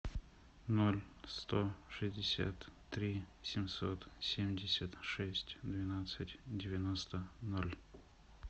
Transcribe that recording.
ноль сто шестьдесят три семьсот семьдесят шесть двенадцать девяносто ноль